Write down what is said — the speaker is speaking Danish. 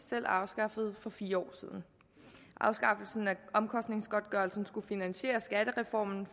selv afskaffede for fire år siden afskaffelsen af omkostningsgodtgørelsen skulle finansiere skattereformen